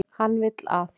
Hann vill að.